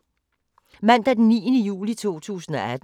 Mandag d. 9. juli 2018